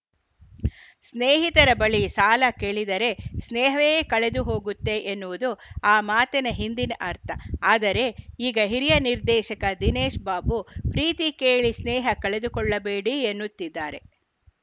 ಸ್ನೇಹಿತರ ಬಳಿ ಸಾಲ ಕೇಳಿದರೆ ಸ್ನೇಹವೇ ಕಳೆದುಹೋಗುತ್ತೆ ಎನ್ನುವುದು ಆ ಮಾತಿನ ಹಿಂದಿನ ಅರ್ಥ ಆದರೆ ಈಗ ಹಿರಿಯ ನಿರ್ದೇಶಕ ದಿನೇಶ್‌ ಬಾಬು ಪ್ರೀತಿ ಕೇಳಿ ಸ್ನೇಹ ಕಳೆದುಕೊಳ್ಳಬೇಡಿ ಎನ್ನುತ್ತಿದ್ದಾರೆ